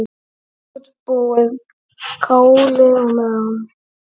Útbúið kálið á meðan.